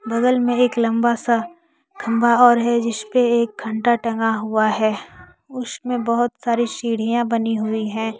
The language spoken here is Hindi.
बगल में एक लंबा सा खंभा और है जिस पर एक घंटा टंगा हुआ है उसमें बहुत सारी सीढ़ियां बनी हुई है।